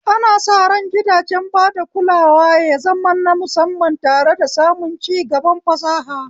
Ana sa ran gidajen bada kulawa ya zama na musamman tare da samun cigaban fasaha.